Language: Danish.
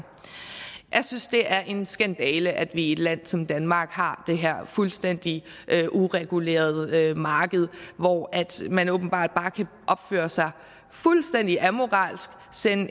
jeg synes det er en skandale at vi i et land som danmark har det her fuldstændig uregulerede marked hvor man åbenbart bare kan opføre sig fuldstændig amoralsk sende